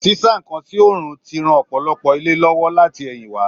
Sísá nkán sí òòrùn ti ran ọpọlọpọ ilé lówó láti ẹ̀yìn wá.